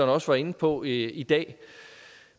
også var inde på i dag